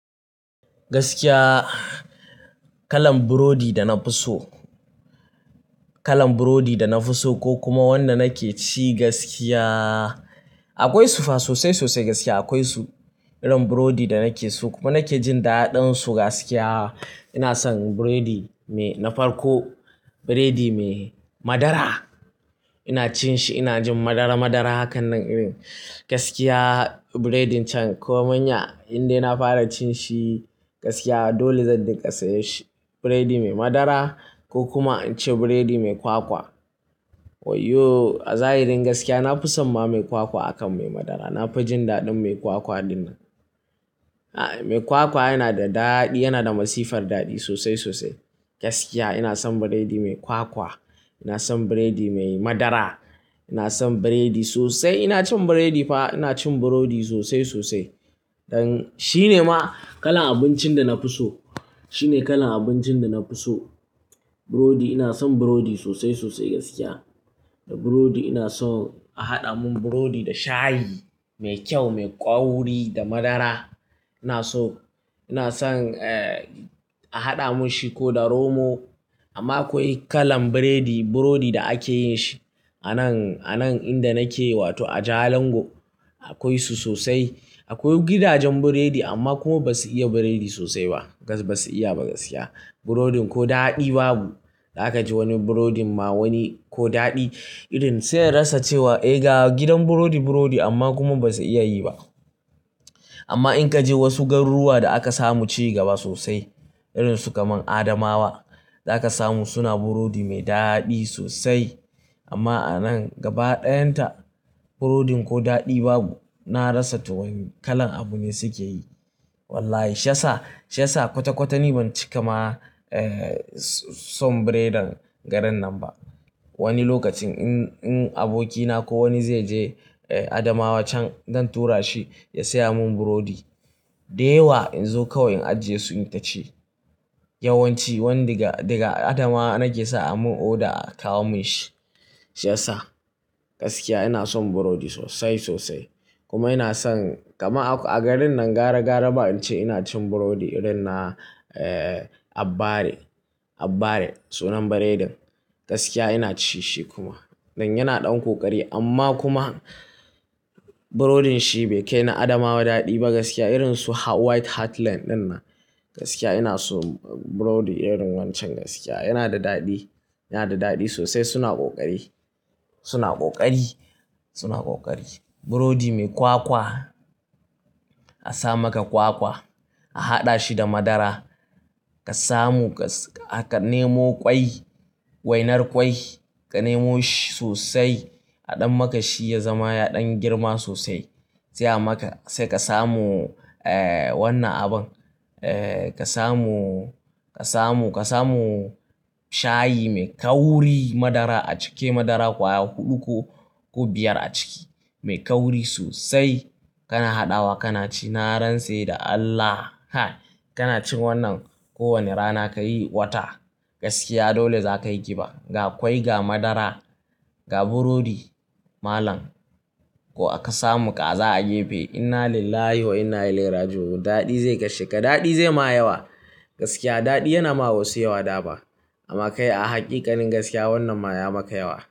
Gaskiya kalan burodi, kalan burodi da na fi soda na fi so ko kuma wanda nake ci gaskiya akwai su fa sosai sosai gaskiya akwai su Irin burodi da nake so kuma nake jin daɗinsu gaskiya, ina son burodi mai na farko burodi mai madara. Ina cin shi, ina jin madara madara hakan nan irin gaskiya burodin can. Ko manya indai na fara cin shi gaskiya dole zan dinga sayar shi. Burodi mai madara ko kuma na ce burodi mai kwakwa. Waiyo! A zahirin gaskiya na fi samma mai kwakwa akan mai madara. Na fi jin daɗin mai kwakwa din nan. Mai kwakwa yana da daɗi, yana da masifar daɗi sosai sosai gaskiya. Ina son burodi mai kwakwa, ina son burodi mai madara, ina son burodi sosai. Ina cin burodi fa, ina cin burodi sosai sosai. Shine ma kalan abincin da na fi so, shine kalan abincin da na fi so. Burodi ina son burodi sosai sosai gaskiya. Da burodi ina so a haɗa mun burodi da shayi me kyau, me ƙauri da madara. Ina so, ina son a haɗa mun shi ko da romo. Amma akwai kalan burodi, burodi da ake yin shi anan, anan inda nake wato a Jalingo. Akwai su sosai. Akwai gidajen burodi amma kuma ba su iya burodi sosai ba gaskiya ba su iya ba gaskiya. Burodin ko daɗi babu. Za ka je wani burodi ma wani ko daɗi irin sai ka rasa cewa "eh ga gidan burodi burodi" amma kuma ba su iya yi ba. Amma in ka je wasu garuruwa da aka samu ci gaba sosai irin su kamar Adamawa, za ka samu suna burodi mai daɗi sosai. Amma anan gaba ɗayan ta burodin ko daɗi babu. Na rasa tuwon kalan abu ne suke yi. Wallahi! Shi yasa, shi yasa kwata kwata ni ban cika ma son burodin garin nan ba. Wani lokacin in abokina ko wani zai je Adamawa can, zan tura shi ya saya mun burodi. Dayawa in zo kawai in ajiye su ni ka ci. Yawan ci wanda daga Adamawa nake sa a mun oda a kawo mun shi. Shi yasa gaskiya ina son burodi sosai sosai. Kuma ina son kama a garin nan gara gara ba in ce ina cin burodi irin na Abbare, Abbare sunan burodin. Gaskiya ina ci shi kuma. Dan yana ɗan ƙoƙari amma kuma burodin shi bai kai na Adamawa daɗi ba gaskiya. Irin su White Heartland dinnan gaskiya ina so burodi irin wancen gaskiya. Yana da daɗi, yana da daɗi sosai. Suna ƙoƙari, suna ƙoƙari, suna ƙoƙari. Burodi mai kwakwa, a sa maka kwakwa, a haɗa shi da madara. Ka samu ka nemo ƙwai, wainar ƙwai, ka nemo shi sosai a ɗan maka shi ya zama ya ɗan girma sosai. Sai a maka, sai ka samu wannan abun. Ka samu, ka samu, ka samu shayi mai ƙauri, madara a ciki madara ƙwaya huɗu ko, ko biyar a ciki. Mai ƙauri sosai kana haɗawa kana ci. Na rance da Allah, ha! Kana cin wannan kowane rana ka yi wata gaskiya dole za ka yi giba. Ga ƙwai, ga madara, ga burodi malam ko aka samu kaza a gefe. Inna lillahi wa inna ilaihi rajiun. Daɗi zai kashe ka, daɗi zai ma yawa gaskiya. Daɗi yana ma wasu yawa dama. Amma kai a hakikanin gaskiya wannan ma ya maka yawa.